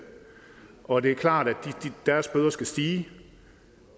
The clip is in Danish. og det er klart at deres bøder skal stige